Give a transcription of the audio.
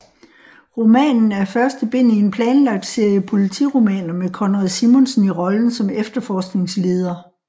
Romanen er første bind i en planlagt serie politiromaner med Konrad Simonsen i rollen som efterforskningsleder